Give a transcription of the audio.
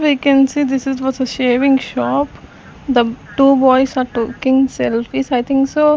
we can see this is what a shaving shop two boys are taking selfies I think so --